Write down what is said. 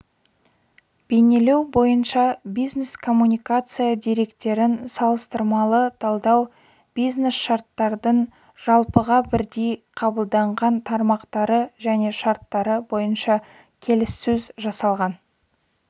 бейнелеу бойынша бизнес-коммуникация деректерін салыстырмалы талдау бизнесшарттардың жалпыға бірдей қабылданған тармақтары және шарттары бойынша келіссөз-жасалған